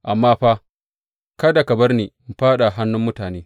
Amma fa kada ka bar ni in fāɗa a hannun mutane.